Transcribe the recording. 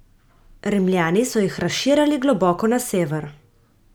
Rimljani so jih razširjali globoko na sever.